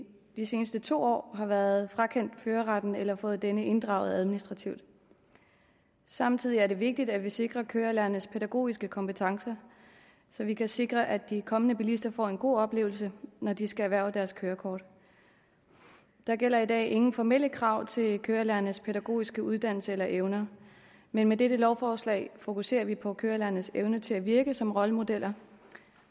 de sidste to år har været frakendt førerretten eller fået denne inddraget administrativt samtidig er det vigtigt at vi sikrer kørelærernes pædagogiske kompetencer så vi kan sikre at de kommende bilister får en god oplevelse når de skal erhverve deres kørekort der gælder i dag ingen formelle krav til kørelærernes pædagogiske uddannelse eller evner men med dette lovforslag fokuserer vi på kørelærernes evne til at virke som rollemodeller